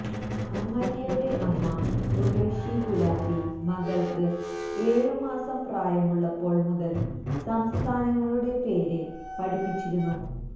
അമര്യയുടെ അമ്മ ഉര്വശി ഗുലാത്തി മകള്ക്ക് ഏഴുമാസം പ്രായമുള്ളപ്പോള് മുതല് സംസ്ഥാനങ്ങളുടെ പേര് പഠിപ്പിച്ചിരുന്നു